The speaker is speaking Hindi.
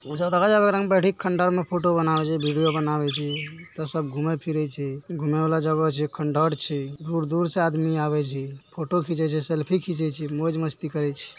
जैसा देखा जा उधर बैठ कर लोग खंडहर में फोटो बना रहे छे वीडियो बना वे छे ब घूम रवे छे घूमने वाला जगह खंडहर छे दूर से आदमी अबे छे फोटो खींचे छे सेल्फी खीछे छे मौज मस्ती करे छे।